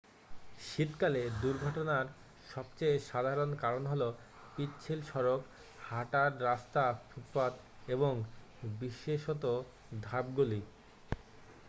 শীতকালে দুর্ঘটনার সবচেয়ে সাধারণ কারণ হল পিচ্ছিল সড়ক হাটার রাস্তা ফুটপাত এবং বিশেষত ধাপগুলি।